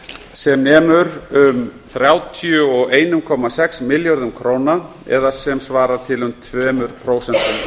sem nemur um þrjátíu og einum komma sex milljörðum króna það er sem svarar til um tvö prósent af